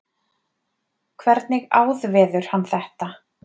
hvernig áðveður hann þetta